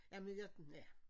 Jamen jeg ja